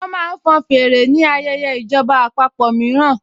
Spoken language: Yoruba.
Wọ́n máa ń fọn fèrè ni ayẹyẹ ìjọba àpapọ̀ mìíràn